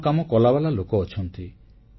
ଭଲ କାମ କଲାବାଲା ଲୋକ ଅଛନ୍ତି